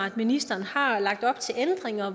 at ministeren har lagt op til ændringer